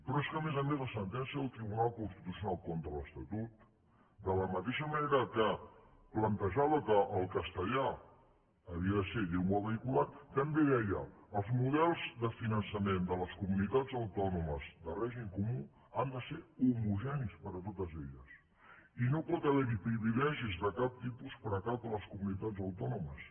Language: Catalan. però és que a més a més la sentència del tribunal constitucional contra l’estatut de la mateixa manera que plantejava que el castellà havia de ser llengua vehicular també deia els models de finançament de les comunitats autònomes de règim comú han de ser homogenis per a totes elles i no pot haver hi privilegis de cap tipus per a cap de les comunitats autònomes